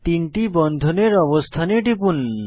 তিনটি বন্ধনের অবস্থানে টিপুন